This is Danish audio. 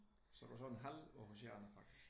Så du er sådan halv Aarhusianer faktisk?